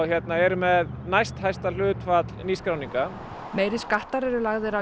erum með næsthæsta hlutfall nýskráninga meiri skattar eru lagðir á